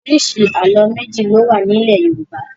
Oríṣi àlọ́ méjì ni ó wà nílẹ̀ Yorùbá.